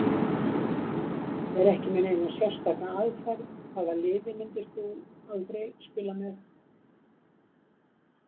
Er ekki með neina sérstaka aðferð Hvaða liði myndir þú aldrei spila með?